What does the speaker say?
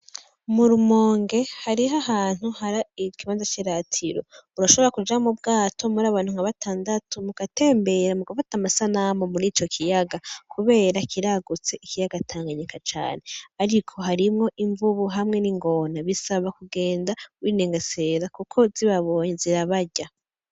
Mu rumonge hariho ahantu hari ikibanza c'iratiro urashobora kuja mu bwato muri abantu nk'abatandatu mugatembera mugafata amasanamu muri ico kiyaga kubera kiragutse ikiyaga tanganyika cane ariko hariho imvubu hamwe n'ingona bisaba kugenda winengesera kuko zibabonye zirabarya.